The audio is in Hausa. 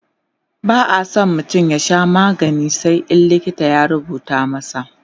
ba'a San mutum ya Sha magani sai in likita ya rubuta masa